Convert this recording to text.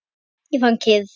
Ég fann kyrrð.